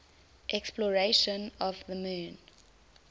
exploration of the moon